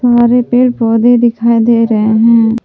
पेड़ पौधे दिखाई दे रहे हैं।